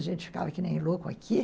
A gente ficava que nem louco aqui.